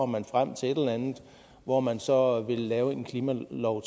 man frem til et eller andet hvor man så vil lave en klimalov